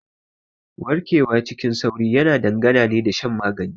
Warkewa cikin sauri yana dangana ne da shan magani.